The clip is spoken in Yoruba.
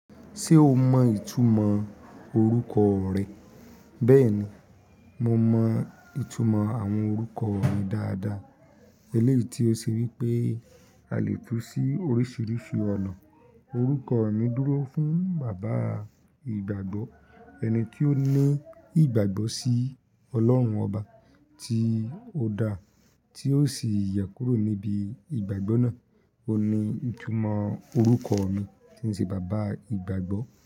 Ṣé o mọ ìtumọ̀ orúkọ rẹ? Bẹ́ẹ̀ni, mo mọ ìtumọ̀ àwọn orúkọ mi dáadáa. Eléti ó ṣe wípé a lè tú sí oríṣiríṣi ọ̀nà. Òrúkọ mi dúró fún bàbá ìgbàgbọ́, ẹni tí ó ní ìgbàgbọ́ sí Ọlọ́run ọba tí ó dá, tí ó sì yẹ kúrò níbi ìgbàgbọ́ náà. Ó ní ìtumọ̀ orúkọ mi tí ń ṣe bàbá ìgbàgbọ́.